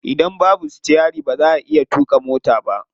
Idan babu sitiyari ba za'a iya tuƙa mota ba.